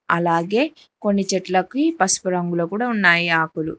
అలాగే కొన్ని చెట్లకి పసుపు రంగులో కుడా ఉన్నాయి ఆకులు.